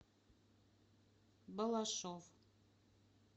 балашов